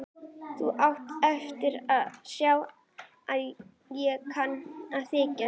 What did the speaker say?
Hann sagði að jörðin yrði örfoka.